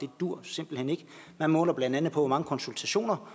duer simpelt hen ikke man måler blandt andet på hvor mange konsultationer